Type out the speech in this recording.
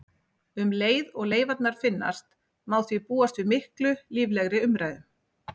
Um leið og leifarnar finnast má því búast við miklu líflegri umræðum.